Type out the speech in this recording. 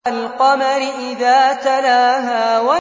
وَالْقَمَرِ إِذَا تَلَاهَا